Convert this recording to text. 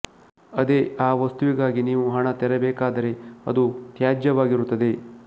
ಅದೇ ಆ ವಸ್ತುವಿಗಾಗಿ ನೀವು ಹಣ ತೆರಬೇಕಾದರೆ ಅದು ತ್ಯಾಜ್ಯವಾಗಿರುತ್ತದೆ